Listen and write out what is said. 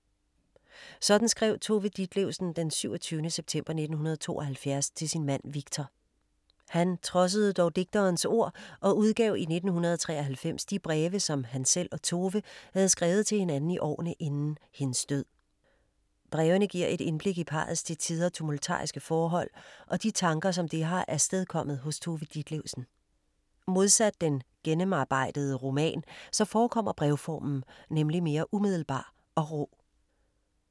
Sådan skrev Tove Ditlevsen d. 27. september 1972 til sin mand Victor. Han trodsede dog digterens ord og udgav i 1993 de breve som han selv og Tove havde skrevet til hinanden i årene inden hendes død. Brevene giver et indblik i parrets til tider tumultariske forhold og de tanker som det har afstedkommet hos Tove Ditlevsen. Modsat den gennemarbejdede roman så forekommer brevformen nemlig mere umiddelbar og rå.